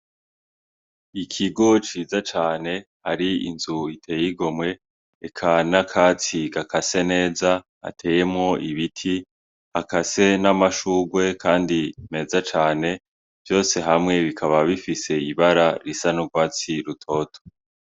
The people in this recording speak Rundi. Ikigo ciza cane har'inzu itey'igomwe ,eka n'akatsi gakase neza gateyemwo ibiti hakase n'amashurwe kandi meza cane vyose hamwe bikaba bifis'ibara risa n'urwatsi rutoto.